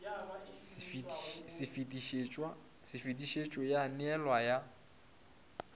se fetišetšwe ya neelwa ya